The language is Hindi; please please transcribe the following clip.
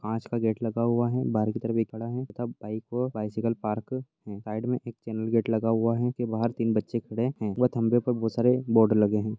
कांच का गेट लगा हुआ है बहार की तरफ एक पड़ा है तथा बाइक अ बैसिकल पार्क है और साइड में एक चैनल गेट लगा हुआ है उसके बहार तीन बच्चे खड़े है बोर्ड लगे है।